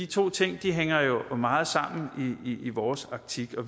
to ting hænger jo meget sammen i vores optik og